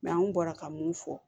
an bɔra ka mun fɔ